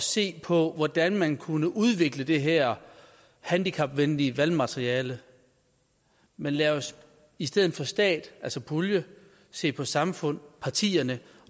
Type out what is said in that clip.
se på hvordan man kunne udvikle det her handicapvenlige valgmateriale men lad os i stedet for stat altså pulje se på samfund partierne